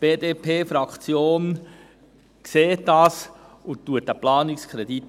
Die BDP-Fraktion sieht das und unterstützt den Planungskredit.